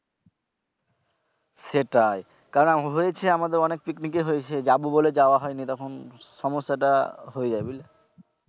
সেটাই কারণ হয়েছে আমাদের অনেক পিকনিকে হয়েছে যাবো বলে যাওয়া হয়নি তখন সমস্যা টা হয়ে যায় বুঝলে।